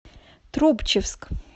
трубчевск